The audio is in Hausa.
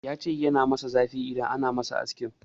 Ya ce yana masa zafi idan ana askin.